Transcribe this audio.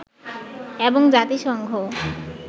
এবং জাতিসংঘ